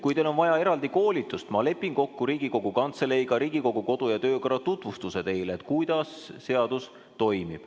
Kui teil on vaja eraldi koolitust, siis ma lepin kokku Riigikogu Kantseleiga, et teile tehtaks Riigikogu kodu- ja töökorra tutvustus, et kuidas seadus toimib.